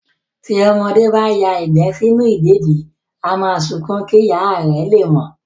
Tí ọmọdé bá ya ìgbẹ́ sínú ìdèdí, á máa sunkún kí ìyá lè mọ̀